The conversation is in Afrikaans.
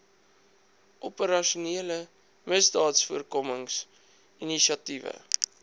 operasionele misdaadvoorkomings inisiatiewe